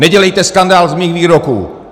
Nedělejte skandál z mých výroků!